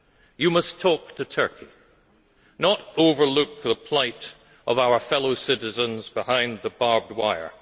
You must talk to Turkey, not overlook the plight of our fellow citizens behind the barbed wire.